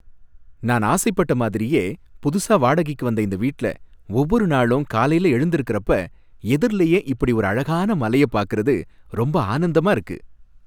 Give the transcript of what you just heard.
நான் ஆசைப்பட்ட மாதிரியே புதுசா வாடகைக்கு வந்த இந்த வீட்ல, ஒவ்வொரு நாளும் காலையில எழுந்திருக்கிறப்ப எதிர்லயே இப்படி ஒரு அழகான மலையை பாக்குறது ரொம்ப ஆனந்தமா இருக்கு.